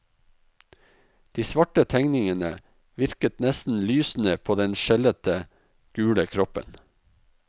De svarte tegningene virket nesten lysende på den skjellete, gule kroppen.